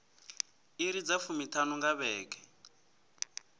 iri dza fumiṱhanu nga vhege